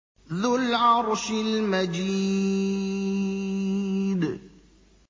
ذُو الْعَرْشِ الْمَجِيدُ